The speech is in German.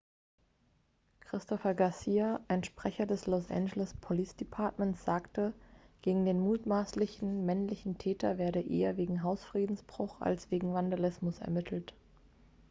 christopher garcia ein sprecher des los angeles police departments sagte gegen den mutmaßlichen männlichen täter werde eher wegen hausfriedensbruch als wegen vandalismus ermittelt